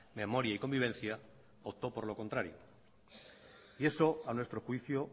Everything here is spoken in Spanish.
memoria y convivencia optó por lo contrario y eso a nuestro juicio